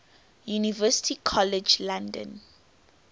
university college london